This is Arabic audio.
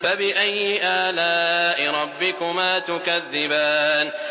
فَبِأَيِّ آلَاءِ رَبِّكُمَا تُكَذِّبَانِ